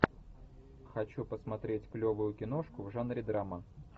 хочу посмотреть клевую киношку в жанре драма